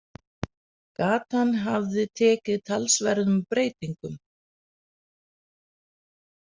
Gatan hafði tekið talsverðum breytingum.